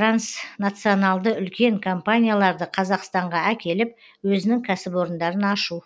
транснационалды үлкен компанияларды қазақстанға әкеліп өзінің кәсіпорындарын ашу